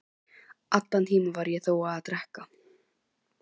Allan tímann var ég þó að drekka.